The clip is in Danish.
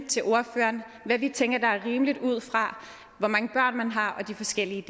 til ordføreren hvad vi tænker er rimeligt ud fra hvor mange børn man har og de forskellige